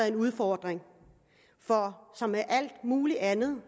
en udfordring for som med alt muligt andet